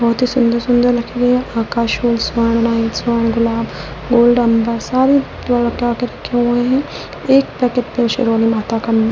बहुत ही सुंदर सुंदर लकड़ी है आकाश व स्वर्ण लाइन स्वर्ण गुलाब गोल्ड अंबर सारे वो लटका के रखे हुए हैं एक पैकेट पे शिरोली माता का --